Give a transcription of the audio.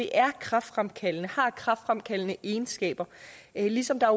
er kræftfremkaldende har kræftfremkaldende egenskaber ligesom der